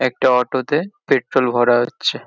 একটা অটো তে পেট্রল ভরা হচ্ছে।